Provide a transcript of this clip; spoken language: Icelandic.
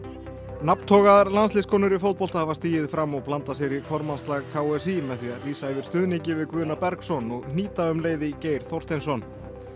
landsliðskonur í fótbolta hafa stigið fram og blandað sér í formannsslag k s í með því að lýsa yfir stuðningi við Guðna Bergsson og hnýta um leið í Geir Þorsteinsson